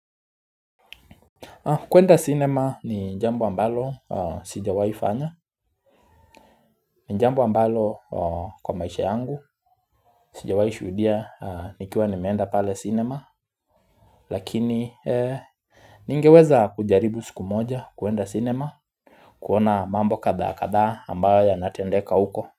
Kuenda cinema ni jambo ambalo sijawahi fanya, ni jambo ambalo kwa maisha yangu, sijawahi shuhudia nikiwa nimeenda pale cinema, lakini ningeweza kujaribu siku moja kuenda cinema, kuona mambo kadhaa kadhaa ambayo yanatendeka huko.